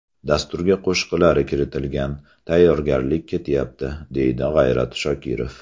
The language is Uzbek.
Dasturga qo‘shiqlari kiritilgan, tayyorgarlik ketyapti”, deydi G‘ayrat Shokirov.